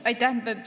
Aitäh!